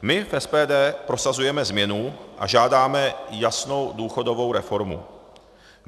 My v SPD prosazujeme změnu a žádáme jasnou důchodovou reformu.